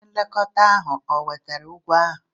Onye nlekọta ahụ o wetara ụgwọ ahụ?